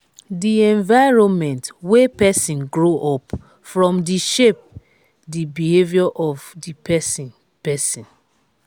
di environment wey person grow up from de shape di behavior of di persin persin